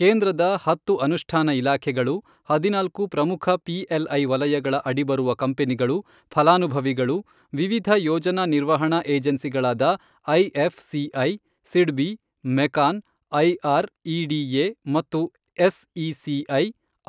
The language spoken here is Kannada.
ಕೇಂದ್ರದ ಹತ್ತು ಅನುಷ್ಠಾನ ಇಲಾಖೆಗಳು, ಹದಿನಾಲ್ಕು ಪ್ರಮುಖ ಪಿಎಲ್ಐ ವಲಯಗಳ ಅಡಿ ಬರುವ ಕಂಪನಿಗಳು, ಫಲಾನುಭವಿಗಳು, ವಿವಿಧ ಯೋಜನಾ ನಿರ್ವಹಣಾ ಏಜೆನ್ಸಿಗಳಾದ IFCI, SIDBI, MECON, IREDA ಮತ್ತು ಎಸ್ಇಸಿಐ,